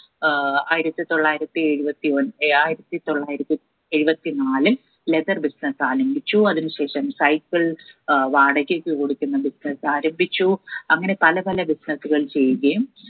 ഏർ ആയിരത്തി തൊള്ളായിരത്തി എഴുപത്തി ഒൻ ആയിരത്തി തൊള്ളായിരത്തി എഴുപത്തി നാല് leather business ആരംഭിച്ചു അതിന് ശേഷം cycle ഏർ വാടകയ്ക്ക് കൊടുക്കുന്ന business ആരംഭിച്ചു അങ്ങനെ പല പല business കൾ ചെയ്യുകയും